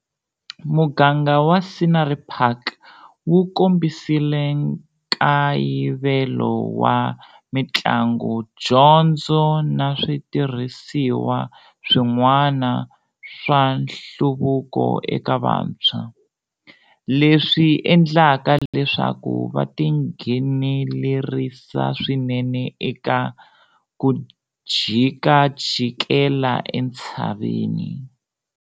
Muganga wa Scenery Park wu kombisile nkayivelo wa mitlangu, dyondzo na switirhisiwa swin'wani swa nhluvuko eka vantshwa, leswi endlaka leswaku va tinghenelerisa swinene eka 'ku jikajikela entshaveni'.